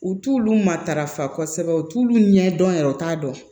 U t'ulu matarafa kosɛbɛ u t'ulu ɲɛdɔn yɛrɛ u t'a dɔn